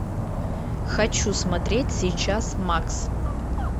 хочу смотреть сейчас макс